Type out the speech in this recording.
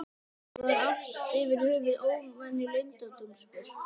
Fullorðna fólkið var allt yfir höfuð óvenju leyndardómsfullt.